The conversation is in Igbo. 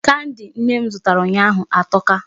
Kandi nne m zụtara ụnyaahụ atọka.